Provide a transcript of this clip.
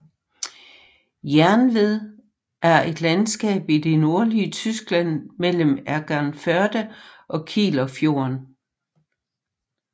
Jernved er et landskab i det nordlige Tyskland mellem Egernførde og Kielerfjorden